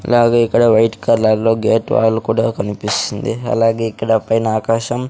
అలాగే ఇక్కడ వైట్ కలర్లో గేట్ వాల్ కూడా కన్పిస్తుంది అలాగే ఇక్కడ పైన ఆకాశం--